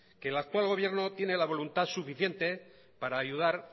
que el actual gobierno tiene la voluntad suficiente para ayudar